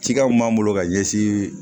Cikɛ mun b'an bolo ka ɲɛsin